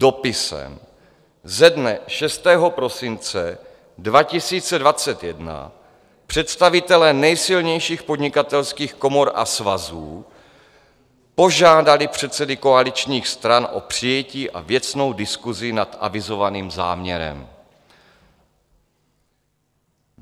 Dopisem ze dne 6. prosince 2021 představitelé nejsilnějších podnikatelských komor a svazů požádali předsedy koaličních stran o přijetí a věcnou diskusi nad avizovaným záměrem.